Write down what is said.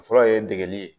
Fɔlɔ ye degeli ye